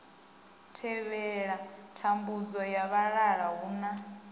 thivhela thambudzo ya vhalala huna